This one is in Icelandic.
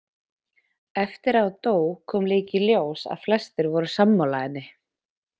Eftir að hún dó kom líka í ljós að flestir voru sammála henni.